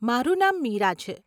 મારું નામ મીરા છે.